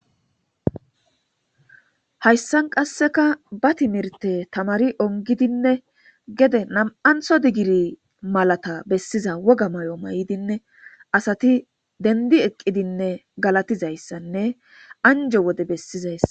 Hayssan qasseka ba timirte tamari ongidinne gede nam,antho digiri malata bessiza woga may,o may,dinne asati dendi eqqidinne galatizayssanne anjo wode bessizayssa.